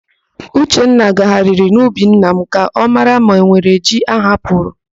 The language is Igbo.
Uchenna gagharịrị n'ubi nna m ka ọ mara ma enwere ji ahapụrụ.